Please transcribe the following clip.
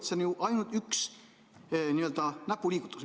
See on ju ainult üks n-ö näpuliigutus.